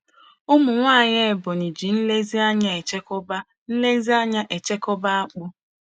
Ụmụnwaanyị Ebonyi ji nlezianya echekwaba nlezianya echekwaba akpụ.